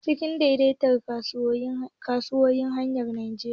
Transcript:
NSE ce ke daidaita kasuwannin hannayen jarin Najeriya